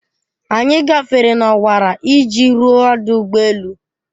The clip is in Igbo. Anyị gafere n'ọwara iji ruo ọdụ ụgbọ elu.